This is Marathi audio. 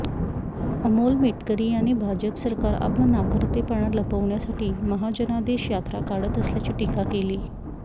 अमोल मेटकरी यांनी भाजप सरकार आपला नाकर्तेपणा लपवण्यासाठी महाजनादेश यात्रा काढत असल्याची टीका केली